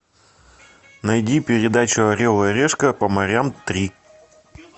найди передачу орел и решка по морям три